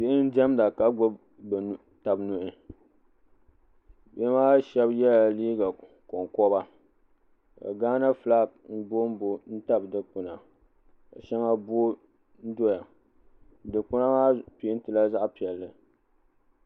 Biyhi diɛmda ka. gbubi tabi nuhi bihi maa shɛb yɛla liika konkoba ka Gaana fulaaki booi booi n tabi dukpuna shɛŋa booi n doyadukpuna maa peentila zaɣi piɛli